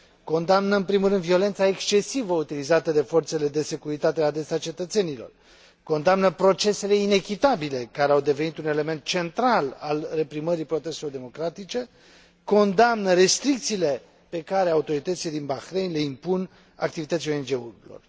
Condamnă, în primul rând, violența excesivă utilizată de forțele de securitate la adresa cetățenilor, condamnă procesele inechitabile, care au devenit un element central al reprimării protestelor democratice, condamnă restricțiile pe care autoritățile din Bahrain le impun activității ONG urilor.